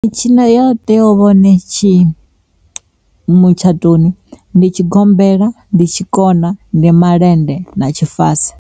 Mitshino yo teaho uvha hone tshi mutshatoni ndi tshigombela, ndi tshikona, ndi malende, na tshifasi.